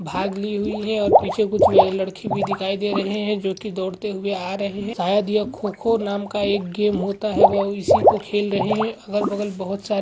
भाग ली हुई है और पीछे कुछ लड़के भी दिखाई दे रहे हैं जो कि दौड़ते हुए आ रहे हैं शायद यह खो-खो नाम का एक गेम होता है वह उसी को खेल रहे हैं और अगल बगल बहुत--